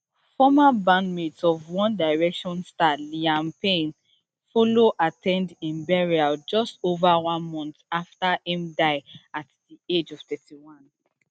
former bandmates of one direction star liam payne follow at ten d im burial just ova one month afta im die at di age of thirty-one